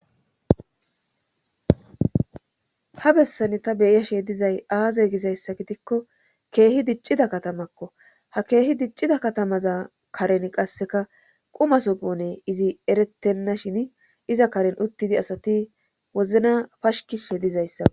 ha bessan ta beyashe dizay aaze gisayssa gidikko keehi diccida katamakko ha keehi diccida katamaza karen qasseka qumasopone izi erettenna shin iza karen uttidi asati wozna pashikishe dizayssa